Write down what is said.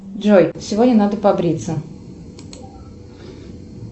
джой сегодня надо побриться